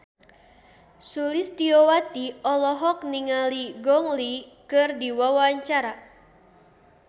Sulistyowati olohok ningali Gong Li keur diwawancara